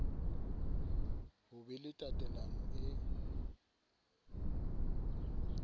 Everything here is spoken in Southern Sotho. ho be le tatelano e